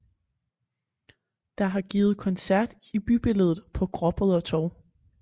Der har givet koncert i bybilledet på gråbrødre torv